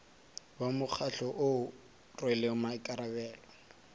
wa mokgatlo o rwele maikarabelo